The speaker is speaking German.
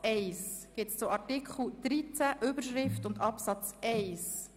Gibt es Anträge zu Artikel 13, zur Überschrift und zu Absatz 1?